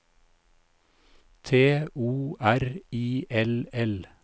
T O R I L L